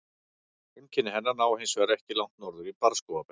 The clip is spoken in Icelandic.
Heimkynni hennar ná hins vegar ekki langt norður í barrskógabeltið.